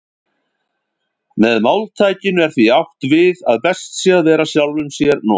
Með máltækinu er því átt við að best sé að vera sjálfum sér nógur.